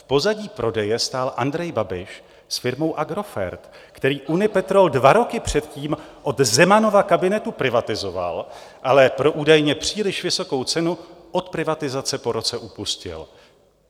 V pozadí prodeje stál Andrej Babiš s firmou Agrofert, který Unipetrol dva roky předtím od Zemanova kabinetu privatizoval, ale pro údajně příliš vysokou cenu od privatizace po roce upustil.